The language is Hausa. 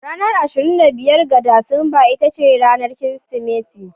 Ranar 25 ga Disamba ita ce ranar Kirsimeti.